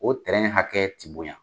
O tɛrɛn hakɛ tɛ bonya.